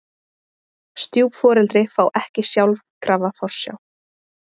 Stjúpforeldri fá ekki sjálfkrafa forsjá